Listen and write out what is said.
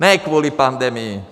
Ne kvůli pandemii.